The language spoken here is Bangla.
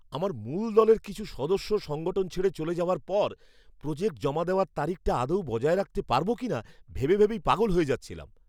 আমার মূল দলের কিছু সদস্য সংগঠন ছেড়ে চলে যাওয়ার পর প্রোজেক্ট জমা দেওয়ার তারিখটা আদৌ বজায় রাখতে পারব কিনা ভেবে ভেবেই পাগল হয়ে যাচ্ছিলাম।